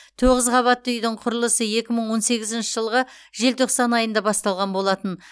тоғыз қабатты үйдің құрылысы екі мың он сегізінші жылғы желтоқсан айында басталған болатын